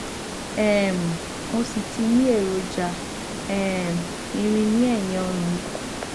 um mo sì ti ní èròjà um irin ní ẹyìn ọrùn mi